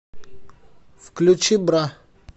включи бра